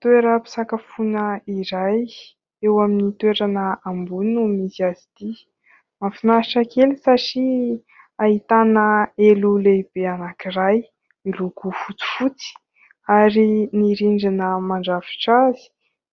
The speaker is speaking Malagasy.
Toeram-pisakafoana iray, eo amin'ny toerana ambony no misy azy ity, mahafinaritra kely satria ahitana elo lehibe anankiray miloko fotsifotsy ary ny rindrina mandrafitra azy